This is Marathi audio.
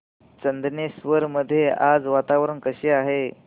चंदनेश्वर मध्ये आज वातावरण कसे आहे